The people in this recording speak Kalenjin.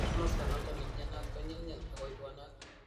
Kamasto noton nemnyanat ko nyelnyel ako ibwanat